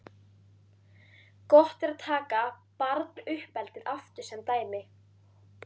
Gott er að taka barnauppeldið aftur sem dæmi.